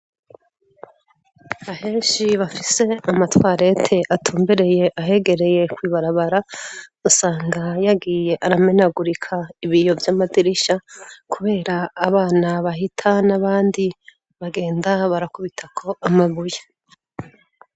Aheshi bafise Amatwarete atumbereye ahegereye kw'ibarabara, usanga yagiye aramenagurika ibiyo vy'amadirisha, kubera abana bahita ,n'abandi bagenda barakubitako amabuye.